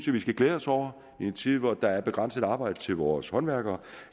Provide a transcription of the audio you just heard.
vi skal glæde os over i en tid hvor der er begrænset arbejde til vores håndværkere